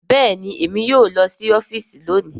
Bẹẹni, Èmí yóò lọ si ọfiisi lóni